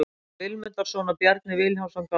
Þórhallur Vilmundarson og Bjarni Vilhjálmsson gáfu út.